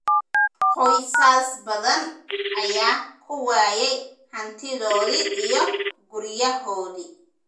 Qoysas badan ayaa ku waayay hantidoodii iyo guryahoodii.